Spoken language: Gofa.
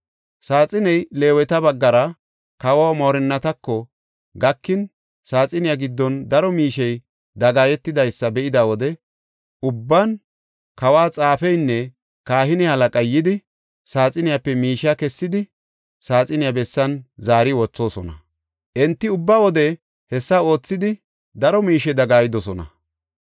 Saaxiney Leeweta baggara kawo moorinnatako gakin saaxiniya giddon daro miishey dagaayetidaysa be7ida wode ubban kawo xaafeynne kahine halaqay yidi saaxiniyape miishe kessidi saaxiniya bessan zaari wothoosona. Enti ubba wode hessa oothidi daro miishe dagaayidosona.